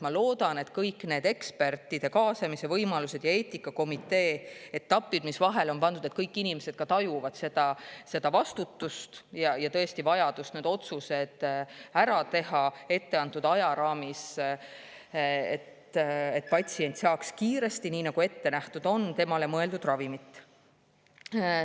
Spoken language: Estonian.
Ma loodan, et kõigi nende ekspertide kaasamise võimaluste ja eetikakomitee etappide puhul, mis vahele on pandud, kõik inimesed tajuvad tõesti seda vastutust ja vajadust teha need otsused ära etteantud ajaraamis, et patsient saaks kiiresti, nii nagu ette nähtud on, temale mõeldud ravimit.